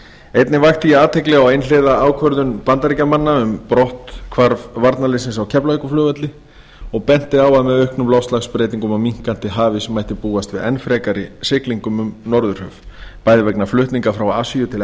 einnig vakti ég athygli á einhliða ákvörðun bandaríkjamanna um brotthvarf varnarliðsins af keflavíkurflugvelli og benti á að með auknum loftslagsbreytingum og minnkandi hafís mætti búast við enn frekari siglingum um norðurhöf bæði vegna flutninga frá asíu til